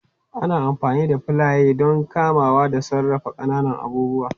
Ana amfani da filaye don kamawa da sarrafa ƙananan abubuwa